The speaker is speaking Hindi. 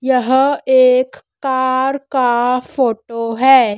यह एक कार का फोटो है।